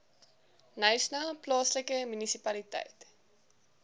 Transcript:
knysna plaaslike munisipaliteit